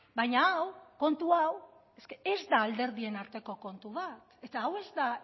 baina hau kontu hau ez da alderdien arteko kontu bat eta hau ez da